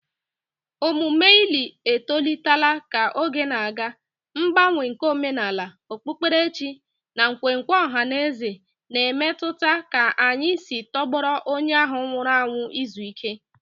Omume ili etolitela ka oge na-aga, mgbanwe nke omenala, okpukperechi, na nkwenkwe ọha mmadụ na-emetụta ka anyị si tọgbọrọ onye ahụ nwụrụ anwụ izu ike